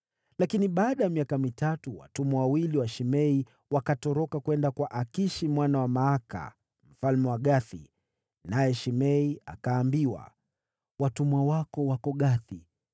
Lakini baada ya miaka mitatu, watumwa wawili wa Shimei wakatoroka kwenda kwa Akishi mwana wa Maaka, mfalme wa Gathi, naye Shimei akaambiwa, “Watumwa wako wako Gathi.”